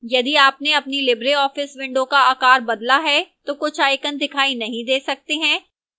यदि आपने अपनी libreoffice window का आकार बदला है तो कुछ icon दिखाई नहीं दे सकते हैं